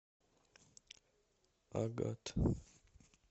агат